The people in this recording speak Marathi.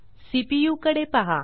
सीपीयू कडे पहा